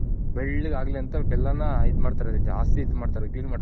ಬೆಳ್ಳಗ್ ಆಗ್ಲಿ ಅಂತ ಬೆಲ್ಲನ ಇದ್ ಮಾಡ್ತಾರೆ ಜಾಸ್ತಿ ಇದ್ ಮಾಡ್ತಾರೆ clean ಮಾಡ್ತಾರೆ.